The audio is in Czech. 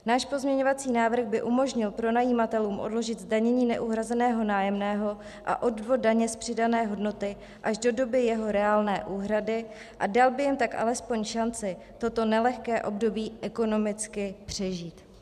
Náš pozměňovací návrh by umožnil pronajímatelům odložit zdanění neuhrazeného nájemného a odvod daně z přidané hodnoty až do doby jeho reálné úhrady a dal by jim tak alespoň šanci toto nelehké období ekonomicky přežít.